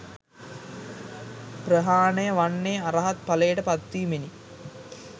ප්‍රහාණය වන්නේ, අරහත් ඵලයට පත් වීමෙනි.